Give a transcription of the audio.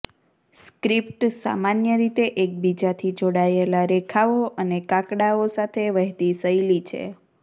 script સામાન્ય રીતે એકબીજાથી જોડાયેલા રેખાઓ અને કાકડાઓ સાથે વહેતી શૈલી છે